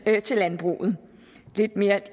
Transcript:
mere til landbruget